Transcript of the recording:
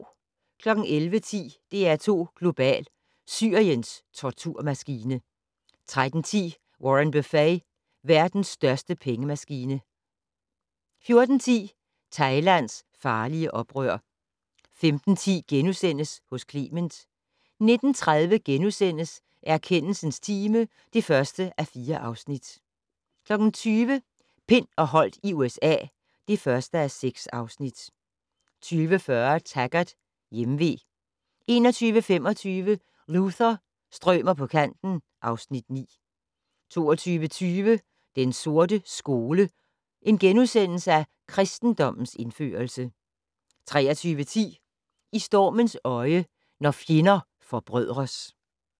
11:10: DR2 Global: Syriens torturmaskine 13:10: Warren Buffett - verden største pengemaskine 14:10: Thailands farlige oprør 15:10: Hos Clement * 19:30: Erkendelsens time (1:4)* 20:00: Pind og Holdt i USA (1:6) 20:40: Taggart: Hjemve 21:25: Luther - strømer på kanten (Afs. 9) 22:20: Den sorte skole: Kristendommens indførelse * 23:10: I stormens øje - når fjender forbrødres